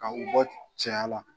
Ka u bɔ cɛya la